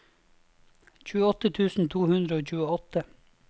tjueåtte tusen to hundre og tjueåtte